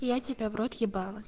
я тебя в рот ебала